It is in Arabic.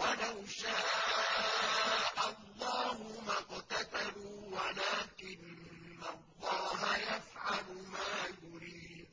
وَلَوْ شَاءَ اللَّهُ مَا اقْتَتَلُوا وَلَٰكِنَّ اللَّهَ يَفْعَلُ مَا يُرِيدُ